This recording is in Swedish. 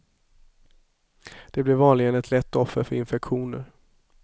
De blir vanligen ett lätt offer för infektioner.